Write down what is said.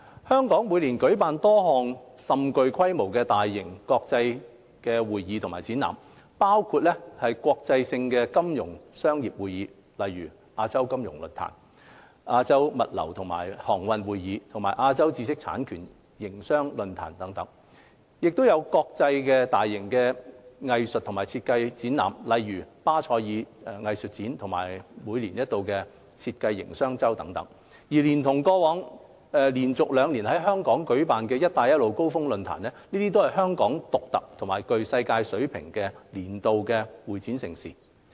香港每年舉辦多項甚具規模的大型國際性會議及展覽，包括國際性的金融商業會議如亞洲金融論壇、亞洲物流及航運會議和亞洲知識產權營商論壇；國際性大型藝術及設計會展活動如巴塞爾藝術展及每年一度的設計營商周等，連同過去連續兩年在港舉辦的"一帶一路"高峰論壇，這些都是香港獨特或具世界級水平的年度會展盛事。